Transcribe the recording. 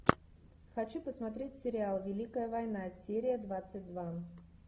хочу посмотреть сериал великая война серия двадцать два